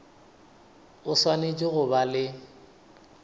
o swanetše go ba le